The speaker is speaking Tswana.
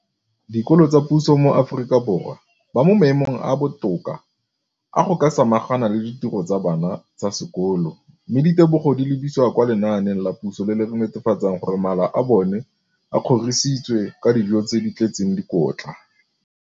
dikolo tsa puso mo Aforika Borwa ba mo maemong a a botoka a go ka samagana le ditiro tsa bona tsa sekolo, mme ditebogo di lebisiwa kwa lenaaneng la puso le le netefatsang gore mala a bona a kgorisitswe ka dijo tse di tletseng dikotla.